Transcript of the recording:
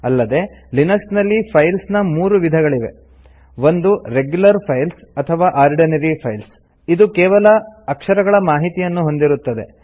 ಅಲ್ಲದೇ ಲಿನಕ್ಸ್ ನಲ್ಲಿ ಫೈಲ್ಸ್ ನ ಮೂರು ವಿಧಗಳಿವೆ 1 ರೆಗ್ಯುಲರ್ ಫೈಲ್ಸ್ ಅಥವಾ ಆರ್ಡಿನರಿ ಫೈಲ್ಸ್ ಇದು ಕೆವಲ ಅಕ್ಷರಗಳ ಮಾಹಿತಿಯನ್ನು ಹೊಂದಿರುತ್ತದೆ